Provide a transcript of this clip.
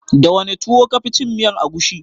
Da wane tuwo ka fi cin miyar agushi?